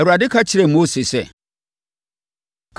Awurade ka kyerɛɛ Mose sɛ,